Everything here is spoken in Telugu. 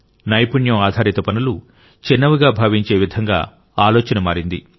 నైపుణ్యం ఆధారిత పనులు చిన్నవిగా భావించే విధంగా ఆలోచన మారింది